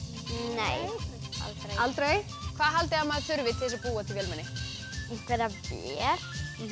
nei aldrei hvað haldið þið að maður þurfi til þess að búa til vélmenni einhverja vél